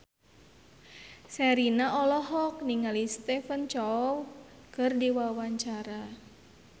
Sherina olohok ningali Stephen Chow keur diwawancara